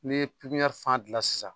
Ne ye pipiniyɛri fan dilan sisan